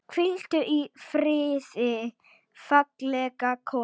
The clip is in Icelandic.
Hvíldu í friði, fallega kona.